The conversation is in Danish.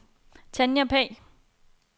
Tanja Pagh